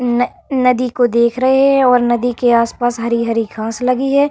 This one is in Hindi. न नदी को देख रहे है और नदी के आसपास हरी-हरी लगी है।